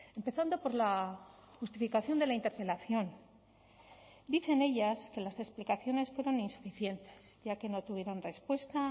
empezando por la justificación de la interpelación dicen ellas que las explicaciones fueron insuficientes ya que no tuvieron respuesta